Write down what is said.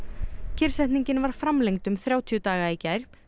kyrrsetningin var framlengd um þrjátíu daga í gær